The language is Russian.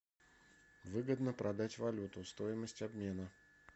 выгодно продать валюту стоимость обмена